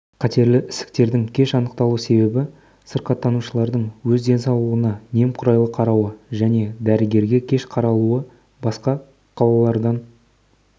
қатерлі ісіктердің кеш анықталу себебі сырқаттанушылардың өз денсаулығына немқұрайлы қарауы және дәрігерге кеш қаралуы басқа қалалардан